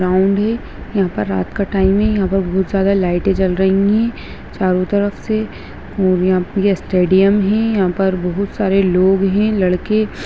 Ground है यहाँ पर रात का टाइम है यहाँ पर बहुत ज्यादा लाइटें जल रही हैं चारो तरफ से और यहां ये स्टेडियम है यहाँ पर बहुत सारे लोग हैं लड़के।